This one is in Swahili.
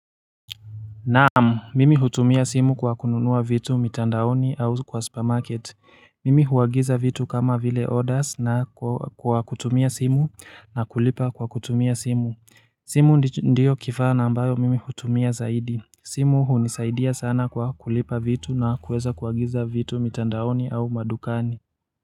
Naamu. Mimi hutumia simu kwa kununua vitu mitandaoni au kwa supermarket. Mimi huwagiza vitu kama vile orders na kwa kutumia simu na kulipa kwa kutumia simu. Simu ndio kifaa nambayo mimi hutumia zaidi. Simu hunisaidia sana kwa kulipa vitu na kuweza kuwagiza vitu mitandaoni au madukani.